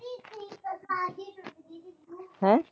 ਹੈਂ?